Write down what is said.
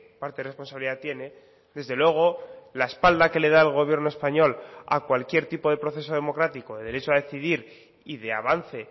parte de responsabilidad tiene desde luego la espalda que le da el gobierno español a cualquier tipo de proceso democrático de derecho a decidir y de avance